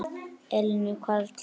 Elín og Karl.